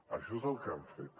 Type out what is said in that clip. això és el que han fet